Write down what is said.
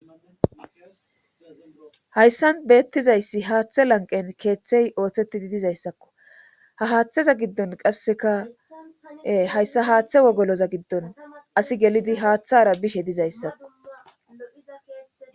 hayssan beettizayssi haaththe lanqen keeththey ooththettidi dizayssakko ha haaththeza giddon qasseka hayssa haaththe wogoloza giddon asi gelidi haaththara bishe dizayssakko